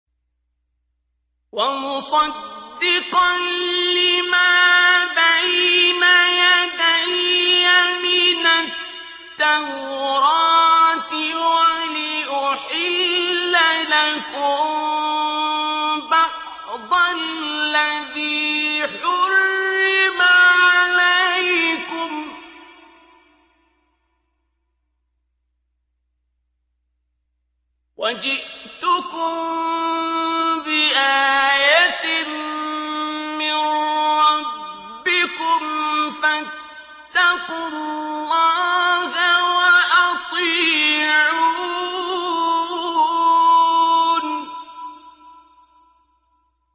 وَمُصَدِّقًا لِّمَا بَيْنَ يَدَيَّ مِنَ التَّوْرَاةِ وَلِأُحِلَّ لَكُم بَعْضَ الَّذِي حُرِّمَ عَلَيْكُمْ ۚ وَجِئْتُكُم بِآيَةٍ مِّن رَّبِّكُمْ فَاتَّقُوا اللَّهَ وَأَطِيعُونِ